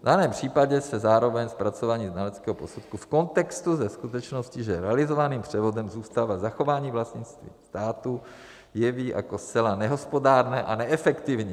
V daném případě se zároveň zpracování znaleckého posudku v kontextu se skutečností, že realizovaným převodem zůstává zachování vlastnictví státu, jeví jako zcela nehospodárné a neefektivní.